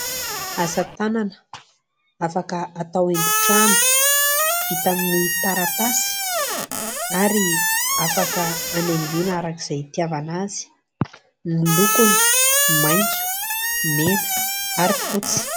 Asa tanana afaka atao haingon-trano, vita amin'ny taratasy ary afaka hanaingoana araka izay hitiavana azy. Ny lokony : maitso, mena ary fotsy.